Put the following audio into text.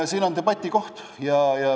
Siin on debati koht.